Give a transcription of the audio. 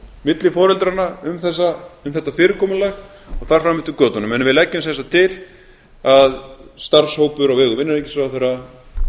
milli foreldranna um þetta fyrirkomulag og þar fram eftir götunum við leggjum sem sagt til að starfshópur á vegum innanríkisráðherra